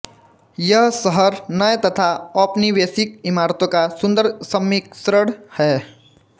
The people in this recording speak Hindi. यह शहर नए तथा औपनिवेशिक इमारतों का सुन्दर सम्मिश्रण है